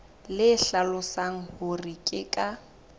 le hlalosang hore ke ka